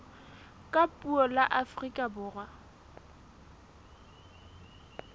ka puo la afrika borwa